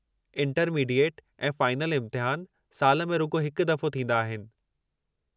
Intermediate ऐं final इम्तिहान साल में रुॻो हिकु दफ़ो थींदा आहिनि।